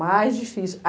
Mais difícil.